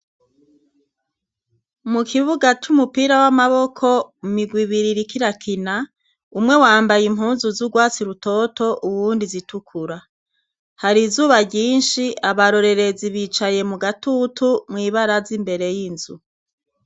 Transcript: Mu kibuga c'umupira w'amaboko, imigwi ibiri iriko irakina, umwe wambaye impuzu z'urwatsi rutoto, uwundi zitukura, hari izuba ryinshi abarorerezi bicaye mu gatutu, mw'ibaraza imbere y'inzu.